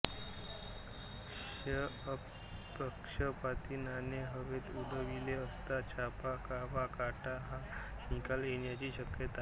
क्ष अपक्षपाती नाणे हवेत उडविले असता छाप वा काटा हा निकाल येण्याची शक्यता